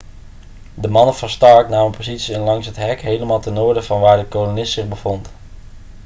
de mannen van stark namen posities in langs het hek helemaal ten noorden van waar de kolonist zich bevond